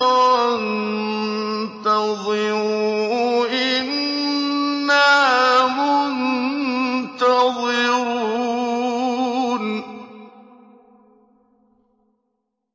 وَانتَظِرُوا إِنَّا مُنتَظِرُونَ